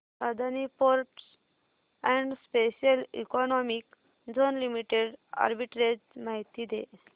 Adani ports and special economic zone limited arbitrage माहिती दे